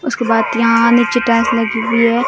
उसके बातीयां और चित्रांश लगी हुई हैं।